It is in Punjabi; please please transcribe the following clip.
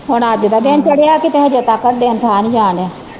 ਹੁਣ ਅੱਜ ਦਾ ਦਿਨ ਚੜਿਆ ਕਿਤੇ ਹਜੇ ਤਾਕਰ ਦਿਨ ਠਾ ਨਹੀਂ ਜਾਣ ਦਿਆ।